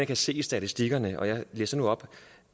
kan se i statistikkerne og jeg læser nu op